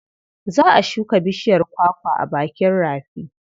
Za a shuka bishiyar kwakwa a bakin rafi.